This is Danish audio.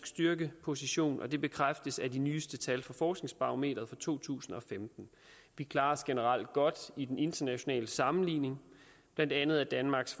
styrkeposition og det bekræftes af de nyeste tal fra forskningsbarometeret fra to tusind og femten vi klarer os generelt godt i den internationale sammenligning blandt andet er danmarks